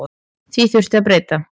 Því þurfi að breyta.